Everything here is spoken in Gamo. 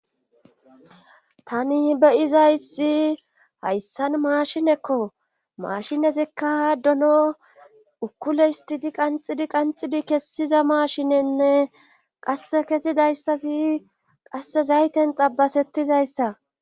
tani be7izayssi hayissan maashinekko maashinezikka dono ukkule histidi qanxidi qanxidi kessiza maashine nne qasse kesidayssazi qasse zayiten xabasettizayssa